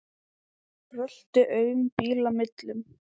Brölti aum bíla millum.